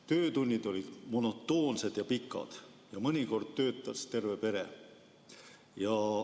Töötunnid olid monotoonsed ja pikad, mõnikord töötas terve pere.